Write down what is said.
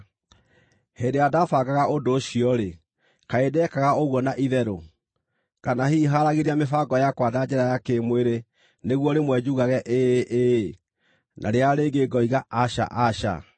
Hĩndĩ ĩrĩa ndaabangaga ũndũ ũcio-rĩ, kaĩ ndeekaga ũguo na itherũ? Kana hihi haaragĩria mĩbango yakwa na njĩra ya kĩ-mwĩrĩ nĩguo rĩmwe njugage, “Ĩĩ, ĩĩ,” na rĩrĩa rĩngĩ ngoiga “Aca, aca”?